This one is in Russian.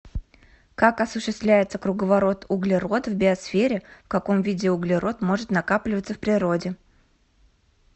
как осуществляется круговорот углерода в биосфере в каком виде углерод может накапливаться в природе